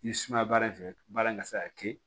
I sumaya baara in fɛ baara in ka se ka kɛ